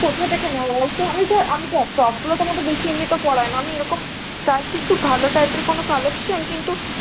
দেখ top গুলোতো আমাদের বেশি এমনিতেও পরা হয় না আমি এরকম চাইছি কি ভালো type এর কোন collection কিন্তু